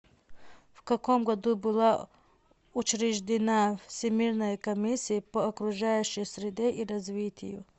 в каком году была учреждена всемирная комиссия по окружающей среде и развитию